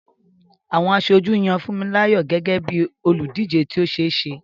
Àwọn aṣojú yan Funmilayo gẹ́gẹ́ bí olùdíje tí ó ṣe é ṣe.